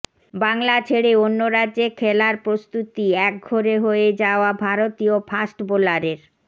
বাংলা ছেড়ে অন্য রাজ্যে খেলার প্রস্তুতি একঘরে হয়ে যাওয়া ভারতীয় ফাস্ট বোলারের